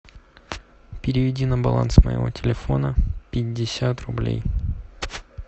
переведи на баланс моего телефона пятьдесят рублей